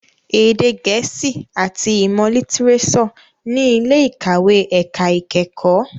Èdè gẹ̀ẹ́sì àti ìmọ̀ lítírésọ̀ ní ilé ìkàwé ẹ̀ka ìkẹ́kọ̀ọ́.